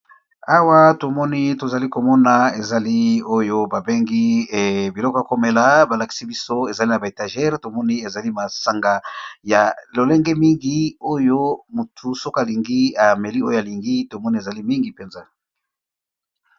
Awa to moni to zali komona ezali oyo ba bengi biloko ya ko mela. Ba lakisi biso ezali na ba étagere. Tomoni ezali masanga ya lolenge mingi oyo motu soki alingi ameli oyo alingi. Tomoni ezali mingi mpenza.